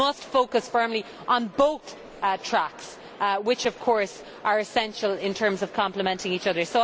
We must focus firmly on both tracks, which of course are essential in terms of complementing each other.